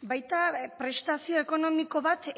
baita prestazio ekonomiko bat